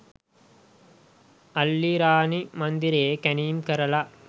අල්ලිරාණි මන්දිරයේ කැනීම් කරලා